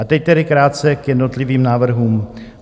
A teď tedy krátce k jednotlivým návrhům.